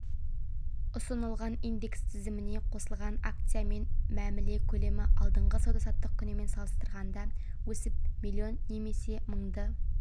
ұсынылған индекс тізіміне қосылған акциямен мәміле көлемі алдыңғы сауда-саттық күнімен салыстырғанда өсіп миллион немесе мыңды